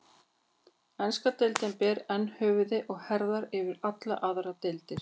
Enska deildin ber enn höfuð og herðar yfir allar aðrar deildir.